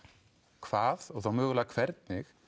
hvað og þá mögulega hvernig